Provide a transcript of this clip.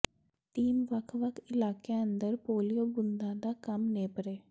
team ਵੱਖ ਵੱਖ ਇਲਾਕਿਆਂ ਅੰਦਰ ਪੋਲਿਉ ਬੂੰਦਾਂ ਦਾ ਕੰਮ ਨੇਪਰੇ